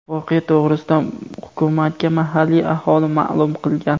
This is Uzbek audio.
Voqea to‘g‘risida hukumatga mahalliy aholi ma’lum qilgan.